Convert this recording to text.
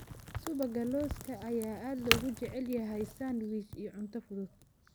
Subagga lawska ayaa aad loogu jecel yahay sandwiches iyo cunto fudud.